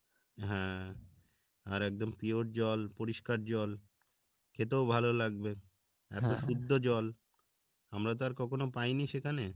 হ্যাঁ আর একদম pure জল পরিষ্কার জল খেতেও ভালো লাগবে শুদ্ধ জল আমরা তো আর কখনো পায়নি সেখানে